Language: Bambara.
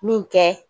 Min kɛ